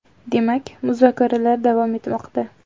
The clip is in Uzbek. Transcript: Demak, muzokaralar davom etmoqda.